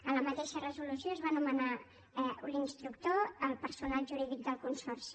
en la mateixa resolució es va anomenar l’instructor el personal jurídic del consorci